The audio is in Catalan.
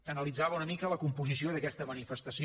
analitzava una mica la composició d’aquesta manifestació